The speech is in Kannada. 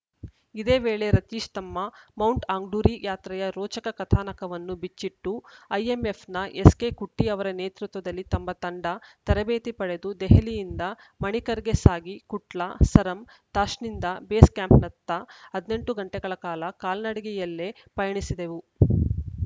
ಇದೇ ವೇಳೆ ರತೀಶ್‌ ತಮ್ಮ ಮೌಂಟ್‌ ಆಂಗ್ಡುರಿ ಯಾತ್ರೆಯ ರೋಚಕ ಕಥಾನಕವನ್ನು ಬಿಚ್ಚಿಟ್ಟು ಐಎಂಎಫ್‌ನ ಎಸ್‌ಕೆ ಕುಟ್ಟಿಅವರ ನೇತೃತ್ವದಲ್ಲಿ ನಮ್ಮ ತಂಡ ತರಬೇತಿ ಪಡೆದು ದೆಹಲಿಯಿಂದ ಮಣಿಕರಣ್‌ಗೆ ಸಾಗಿ ಕುಟ್ಲಾ ಸರಮ್‌ ತಾಷ್ನಿಂದ ಬೇಸ್‌ ಕ್ಯಾಂಪ್‌ನತ್ತ ಹದಿನೆಂಟು ಗಂಟೆಗಳ ಕಾಲ ಕಾಲ್ನಡಿಗೆಯಲ್ಲೇ ಪಯಣಿಸಿದೆವು